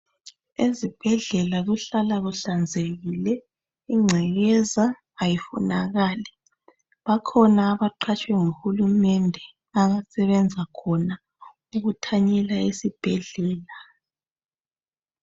Ezibhedlela kuhlala kuhlanzekile, ingcekekza ayifunakali. Bakhona abaqhatshwe nguhulumende abasebenza khona ukuthanyela esibhedlela.